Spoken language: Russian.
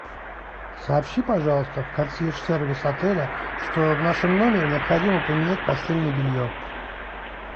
сообщи пожалуйста в консьерж сервис отеля что в нашем номере необходимо поменять постельное белье